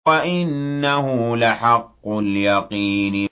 وَإِنَّهُ لَحَقُّ الْيَقِينِ